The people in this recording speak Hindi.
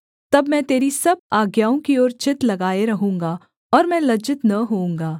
तब मैं तेरी सब आज्ञाओं की ओर चित्त लगाए रहूँगा और मैं लज्जित न होऊँगा